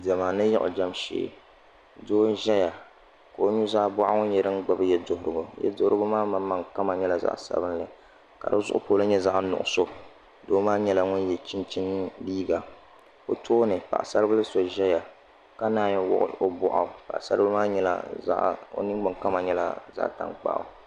Diɛma ni yiɣijɛm shee doo n ʒɛya ka o nuzaa boɣu nyɛ din gbubi yɛduɣurigu yɛduɣurigu maa maŋmaŋ kama nyɛla zaɣ sabinli ka di zuɣu polo nyɛ zaɣ nuɣso doo maa nyɛla ŋun yɛ chinchin liiga o tooni paɣasari bili so ʒɛya ka naan wuɣi o boɣu o ninni kama nyɛla zaɣ tankpaɣu